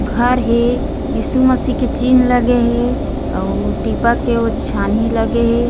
घर हे ईशु मसीह के चिन्ह हे अउ टीपा के छानी लगे हे ।